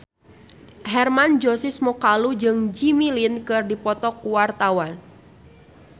Hermann Josis Mokalu jeung Jimmy Lin keur dipoto ku wartawan